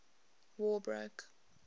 war broke